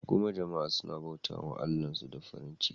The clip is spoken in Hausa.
Kuma jama'a suna bauta wa Allahnsu da farin ciki.